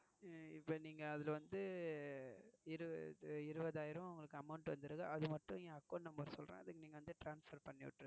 இப்போ நீங்க அதுல வந்து இருபது இருபதாயிரம் உங்களுக்கு amount வந்திருக்கு. ஆக மொத்தம் என் account number சொல்லறேன் அதுக்கு நீங்க வந்து transfer பண்ணி விட்டிருங்க.